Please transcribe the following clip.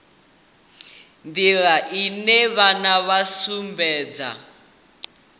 nḓila ine vhana vha sumbedza